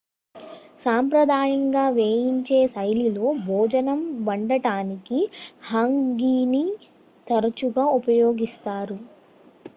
సాంప్రదాయంగా వేయించే శైలిలో భోజనం వండటానికి హంగీని తరచుగా ఉపయోగిస్తారు